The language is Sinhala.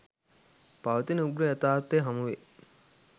පවතින උග්‍ර යථාර්ථය හමුවේ